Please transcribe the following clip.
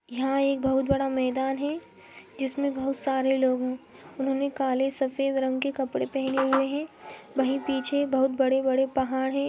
यहाँ एक बोहोत बड़ा मैदान है जिसमे बोहोत सारे लोगो ने काले सफेद रंग के कपड़े पहने हुए है वही पीछे बोहोत बड़े-बड़े पहाड़ है।